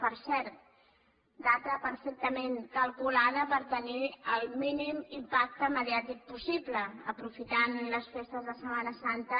per cert data perfectament calculada per tenir el mínim impacte mediàtic possible aprofitant les festes de setmana santa